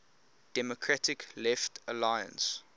democratic left alliance